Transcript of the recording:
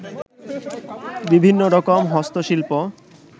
বিভিন্ন রকম হস্ত শিল্প